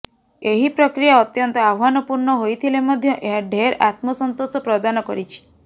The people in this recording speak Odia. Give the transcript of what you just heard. ଏହି ପ୍ରକ୍ରିୟା ଅତ୍ୟନ୍ତ ଆହ୍ବାନପୂର୍ଣ୍ଣ ହୋଇଥିଲେ ମଧ୍ୟ ଏହା ଢେର୍ ଆତ୍ମସନ୍ତୋଷ ପ୍ରଦାନ କରିଛି